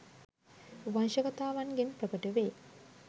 වංශකතාවන්ගෙන් ප්‍රකට වේ.